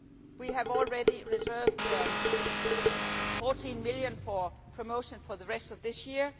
We have already reserved EUR 14 million for promotion for the rest of this year.